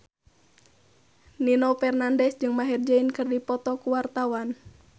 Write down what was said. Nino Fernandez jeung Maher Zein keur dipoto ku wartawan